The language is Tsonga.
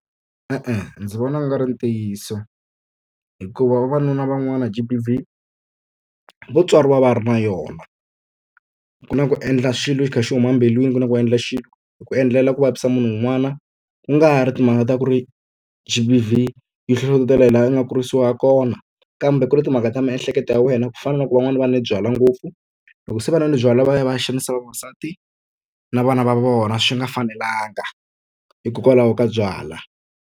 E-e ndzi vona ku nga ri ntiyiso. Hikuva vavanuna van'wana G_B_V vo tswariwa va ri na yona. Ku na ku endla xilo xi kha xi huma embilwini ku na ku endla xilo hi ku endlela ku vavisa munhu un'wana, ku nga ri timhaka ta ku ri G_B_V yi hlohlotela hi laha u nga kurisiwa ha kona kambe ku ri timhaka ta miehleketo ya wena. Ku fana na loko van'wana va nwe byalwa ngopfu, loko se va nwile byalwa va ya va ya xanisa vavasati na vana va vona swi nga fanelanga, hikokwalaho ka byalwa.